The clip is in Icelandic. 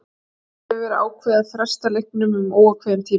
Því hefur verið ákveðið að fresta leiknum um óákveðinn tíma.